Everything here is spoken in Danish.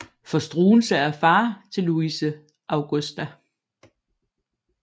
For Struensee er far til Louise Augusta